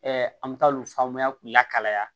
an bɛ taa olu faamaya k'u lakalaya